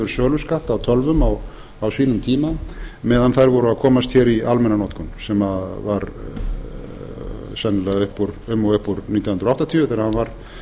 söluskatt af tölvum á sínum tíma meðan þær voru að komast hér í almenna notkun sem var sennilega um og upp úr nítján hundruð áttatíu þegar hann var